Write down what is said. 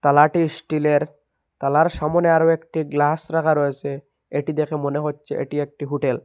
তালাটি স্টিলের তালার সামনে আরও একটি গ্লাস রাখা রয়েসে এটি দেখে মনে হচ্ছে এটি একটি হুটেল ।